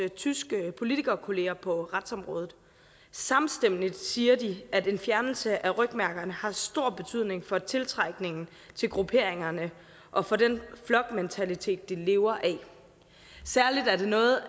tyske politikerkollegaer på retsområdet samstemmende siger de at en fjernelse af rygmærkerne har stor betydning for tiltrækningen til grupperingerne og for den flokmentalitet de lever af særlig er det noget